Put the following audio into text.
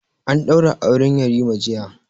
An ɗaura aure yarima jiya